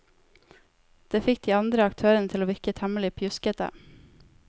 Det fikk de andre aktørene til å virke temmelig pjuskete.